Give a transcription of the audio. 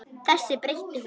Þessu breytti hún.